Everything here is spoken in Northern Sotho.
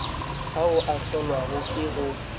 ao a hlolwago ke go